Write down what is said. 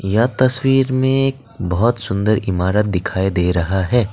यह तस्वीर में एक बहुत सुंदर इमारत दिखाई दे रहा है।